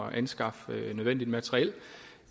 anskaffe nødvendigt materiel